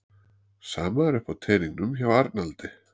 Sama er uppi á teningnum hjá Arnaldi